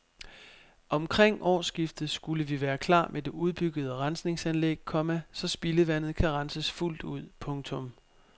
Omkring årsskiftet skulle vi være klar med det udbyggede rensninganlæg, komma så spildevandet kan renses fuldt ud. punktum